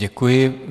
Děkuji.